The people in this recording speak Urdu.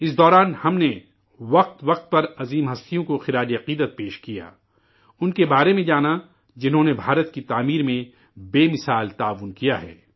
اس دوران ہم نے وقفے وقفے سے عظیم ہستیوں کو خراج عقیدت پیش کی، انکے بارے میں جانا، جنہوں نے ہندوستان کی تعمیر میں بے نظیر خدمات پیش کی ہیں